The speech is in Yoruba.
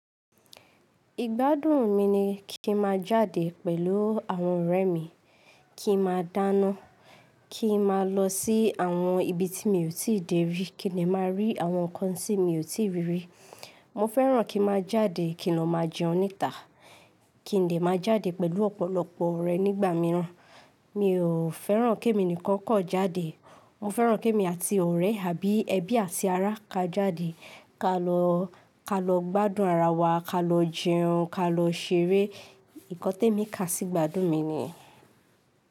Igbádùn mi ni kí n má jáde pẹ̀lú àwọn ọ̀rẹ́ mi, kí n má dáná, kí n má lọ sí àwọn ibi tí mi ò tí ì dé rí, kí ni má rí àwọn nǹkan tí mi ò tí ì rí rí. Mo fẹ́ràn kí n má jáde kí n má jẹun níta, kí n lè má jáde pẹ̀lú ọ̀pọ̀lọpọ̀ ọ̀rẹ́ nígbà míràn. Mi ò fẹ́ràn kí èmi nìkan kan jáde. Mo fẹ́ràn kí èmi àti ọ̀rẹ́ àbí ẹbí àti ará ka jáde, ka lọ, ka lọ gbádùn ara wa, ka lọ jẹun, ka lọ ṣeré. Nnkan tẹ́ mi ká sí ìgbádùn mi ni.